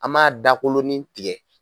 An m'a dakolonin tigɛ.